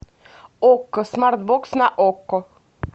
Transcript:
окко смарт бокс на окко